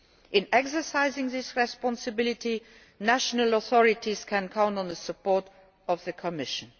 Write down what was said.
In exercising this responsibility, national authorities can count on the support of the Commission.